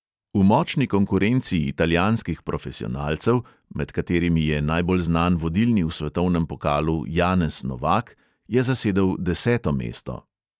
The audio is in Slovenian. V močni konkurenci italijanskih profesionalcev, med katerimi je najbolj znan vodilni v svetovnem pokalu janez novak, je zasedel deseto mesto.